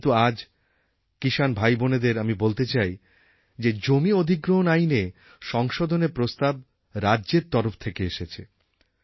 কিন্তু আজ কিষাণ ভাইবোনেদের আমি বলতে চাই যে জমি অধিগ্রহণ আইনে সংশোধনের প্রস্তাব রাজ্যের তরফ থেকে এসেছে